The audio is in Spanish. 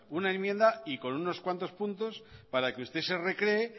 una enmienda y con unos cuantos puntos para que usted se recree